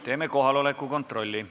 Teeme kohaloleku kontrolli.